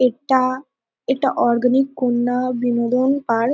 এটা এটা অরগানিক কুন্দন বিনোদন পার্ক ।